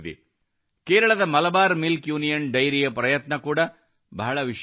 ಕೇರಳದ Malabar milk union dairy ಯ ಪ್ರಯತ್ನ ಕೂಡಾ ಬಹಳ ವಿಶಿಷ್ಟವಾಗಿದೆ